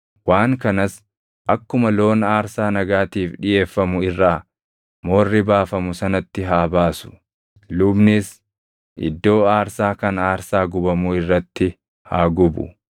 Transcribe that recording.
waan kanas akkuma loon aarsaa nagaatiif dhiʼeeffamu irraa moorri baafamu sanatti haa baasu. Lubnis iddoo aarsaa kan aarsaa gubamuu irratti haa gubu.